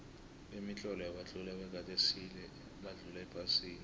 kemitlolo yabatloli bakade esile badlula ephasini